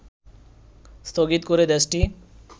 স্থগিত করে দেশটি